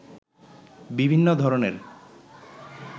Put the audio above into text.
বিভিন্ন ধরণের